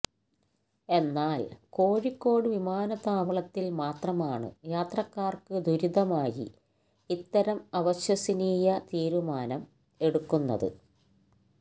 എന്നാൽ കോഴിക്കോട് വിമാനത്താവളത്തിൽ മാത്രമാണ് യാത്രക്കാർക്ക് ദുരിതമായി ഇത്തരം അവിശ്വസനീയ തീരുമാനം എടുക്കുന്നത്